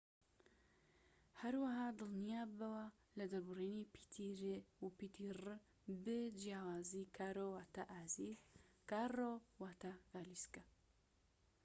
هەروەها دڵنیاببەوە لە دەربڕینی پیتی ر و رر ب جیاوازی کارۆ واتە ئازیز کاررۆ واتە گالیسکە